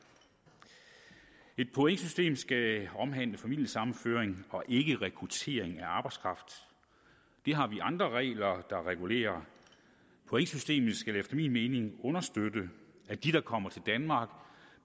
et pointsystem skal omhandle familiesammenføring og ikke rekruttering af arbejdskraft det har vi andre regler der regulerer pointsystemet skal efter min mening understøtte at de der kommer til danmark